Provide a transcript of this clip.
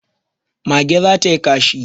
Mage za ta yi kashi